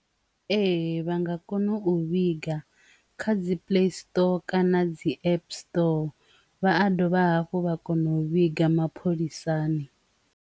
Ee, vha nga kona u vhiga kha dzi play store tou kana dzi app store vha a dovha hafhu vha kona u vhiga mapholisani.